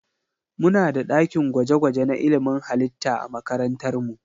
Muna da ɗakin gwaje-gwaje na ilimin halitta a makarantar mu.